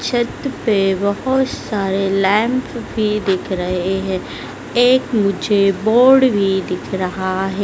छत पे बहोत सारे लैंप भी दिख रहे है एक मुझे बोर्ड भी दिख रहा है।